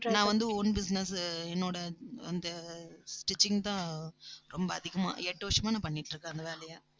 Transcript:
நான் வந்து own business என்னோட அந்த stitching தான் ரொம்ப அதிகமா எட்டு வருஷமா நான் பண்ணிட்டு இருக்கேன் அந்த வேலையை